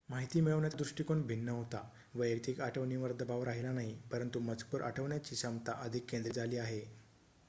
माहिती मिळवण्याचा दृष्टीकोन भिन्न होता वैयक्तिक आठवणीवर दबाव राहिला नाही परंतु मजकूर आठवण्याची क्षमता अधिक केंद्रित झाली आहे